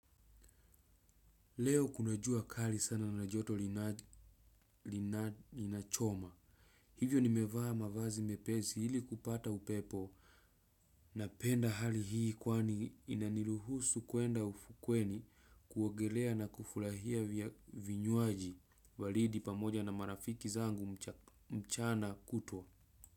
Leo kuna jua kali sana na na joto linachoma. Hivyo nimevaa mavazi mepesi ili kupata upepo napenda hali hii kwani inaniluhusu kuenda ufukweni kuogelea na kufulahia vinywaji balidi pamoja na marafiki zangu mchana kutwa.